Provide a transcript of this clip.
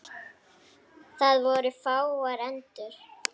Það voru fáar endur.